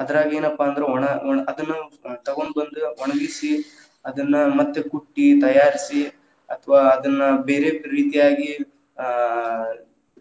ಅದರಾಗ ಏನಪ್ಪಾ ಅಂದ್ರ ಒಣ ಒಣ ಅದನ್ನು ತಗೊಂಬಂದ್‌ ಒಣಗಿಸಿ ಅದನ್ನ ಮತ್ತೇ ಕುಟ್ಟಿ ತಯಾರ್ಸಿ ಅಥವಾ ಅದನ್ನ ಬೇರೆ ರೀತಿಯಾಗಿ ಆ